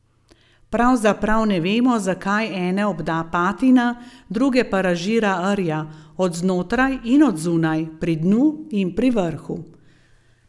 Pravzaprav ne vemo, zakaj ene obda patina, druge pa razžira rja, od znotraj in od zunaj, pri dnu in pri vrhu.